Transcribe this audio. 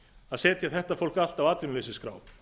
að setja þetta fólk allt á atvinnuleysisskrá